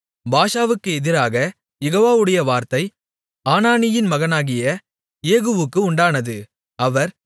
பாஷாவுக்கு எதிராகக் யெகோவாவுடைய வார்த்தை அனானியின் மகனாகிய யெகூவுக்கு உண்டானது அவர்